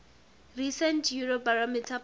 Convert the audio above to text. recent eurobarometer poll